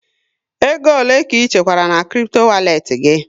Ego ole ka ị chekwara na kripto walet gị?